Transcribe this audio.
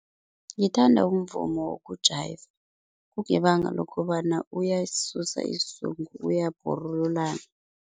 Ngithanda umvumo woku-jayiva kungebanga lokobana uyasisusa isizungu uyabhorululana.